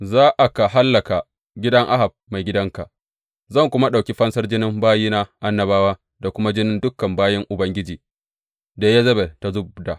Za aka hallaka gidan Ahab maigidanka, zan kuma ɗauki fansar jinin bayina annabawa da kuma jinin dukan bayin Ubangiji da Yezebel ta zub da.